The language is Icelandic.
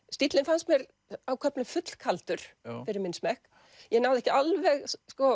stíllinn fannst mér á köflum full kaldur fyrir minn smekk ég náði ekki alveg